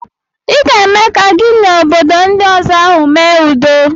I ga-eme ka gị na obodo ndi ọzọ ahụ mee udo.